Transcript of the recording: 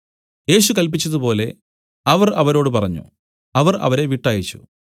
യേശു കല്പിച്ചതുപോലെ അവർ അവരോട് പറഞ്ഞു അവർ അവരെ വിട്ടയച്ചു